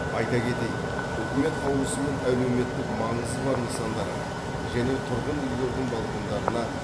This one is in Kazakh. айта кетейік үкімет қаулысымен әлеуметтік маңызы бар нысандарға және тұрғын үйлердің балкондарына